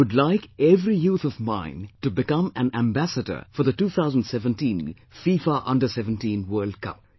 I would like every youth of mine to become an ambassador for the 2017 FIFA Under17 World Cup